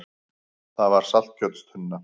Það var saltkjötstunna.